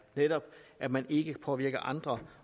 netop at man ikke påvirker andre